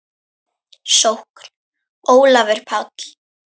Sókn: Ólafur Páll